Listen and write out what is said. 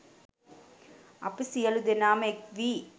අපි සියලු දෙනාම එක්වී